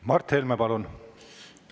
Mart Helme, palun!